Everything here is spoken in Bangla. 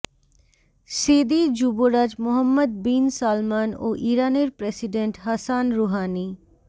স্যেদি যুবরাজ মোহাম্মদ বিন সালমান ও ইরানের প্রেসিডেন্ট হাসান রুহানী